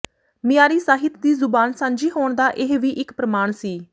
ਮਿਆਰੀ ਸਾਹਿਤ ਦੀ ਜ਼ੁਬਾਨ ਸਾਂਝੀ ਹੋਣ ਦਾ ਇਹ ਵੀ ਇੱਕ ਪ੍ਰਮਾਣ ਸੀ